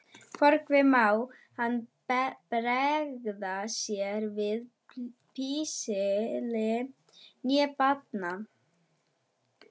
Hvorki má hann bregða sér við píslir né bana.